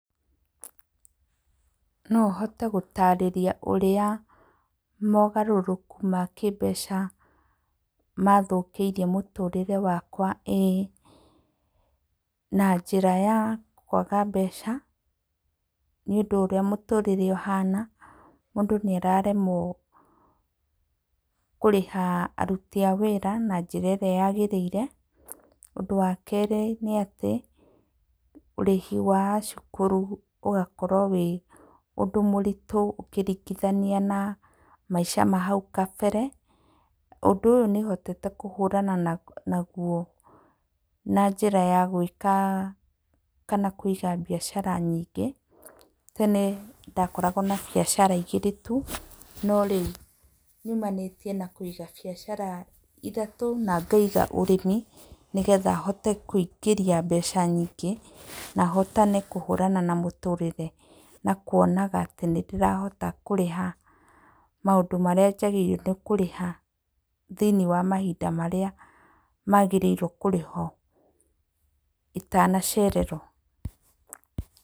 No hote gũtarĩria ũrĩa mogarũrũku ma kĩmbeca mathũkĩirie mũtũrĩre wakwa ĩĩ, na njĩra ya kwaga mbeca nĩũndũ ũrĩa mũtũrĩre ũhana mũndũ nĩararemwo kũrĩha aruti a wĩra na njĩra ĩrĩa yagĩrĩire. Ũndũ wa kerĩ nĩ atĩ, ũrĩhi wa cukuru ũgakorwo wĩ ũndũ mũritũ ũkĩringithania na maica ma hau kabere. Ũndũ ũyũ nĩhotete kũhũrana naguo na njĩra ya gwĩka kana kũiga mbiacara nyingĩ. Tene ndakoragwo na biacara igĩrĩ tu, no rĩu nyumanĩtie na kũiga biacara ithatũ na ngaiga ũrĩmi nĩgetha hote kũingĩria mbeca nyigĩ na hotane kũhũrana na mũtũrĩre na kuonaga atĩ nĩndĩrahota kũrĩha maũndũ marĩa njagĩrĩirwo nĩ kũrĩha thĩiniĩ wa mahinda marĩa magĩrĩirwo kũrĩhwo itanacererwo.